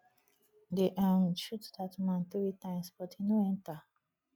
dey um shoot dat man three times but e no enter